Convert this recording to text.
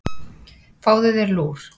Fáðu þér lúr.